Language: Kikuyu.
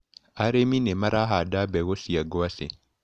Arĩmi nĩmarahanda mbegũ cia ngwacĩ.